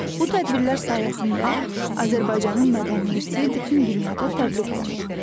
Bu tədbirlər sayəsində Azərbaycanın mədəni irsi bütün dünyada təbliğ olunur.